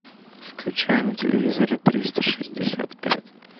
включай на телевизоре триста шестьдесят пять